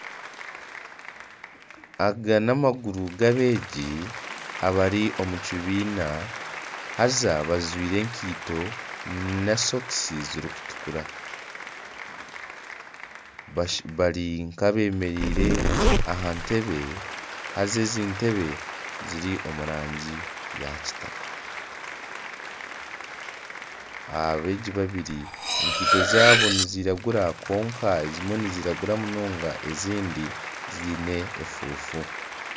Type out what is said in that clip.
Aga n'amaguru gabeegi bari omu kibiina haza bajwaire enkaito na sokusi zirikutukura bari nk'abemereire aha ntebe haza entebe ziri omu rangi eya kitaka abeegi babiri enkaito zaabo niziragura kwonka ezimwe niziragura munonga ezindi ziine efufu